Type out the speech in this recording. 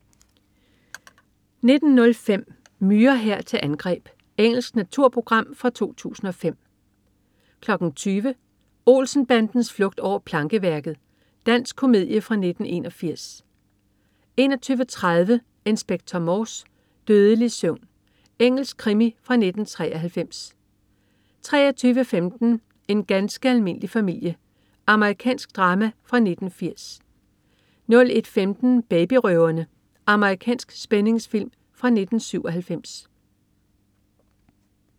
19.05 Myrehær til angreb. Engelsk naturprogram fra 2005 20.00 Olsen-bandens flugt over plankeværket. Dansk komedie fra 1981 21.30 Inspector Morse: Dødelig søvn. Engelsk krimi fra 1993 23.15 En ganske almindelig familie. Amerikansk drama fra 1980 01.15 Babyrøverne. Amerikansk spændingsfilm fra 1997